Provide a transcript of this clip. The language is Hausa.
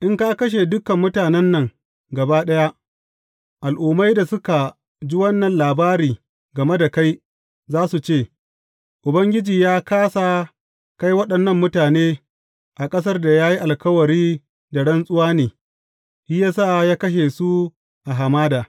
In ka kashe dukan mutanen nan gaba ɗaya, al’ummai da suka ji wannan labari game da kai za su ce, Ubangiji ya kāsa kai waɗannan mutane a ƙasar da ya yi alkawari da rantsuwa ne, shi ya sa ya kashe su a hamada.’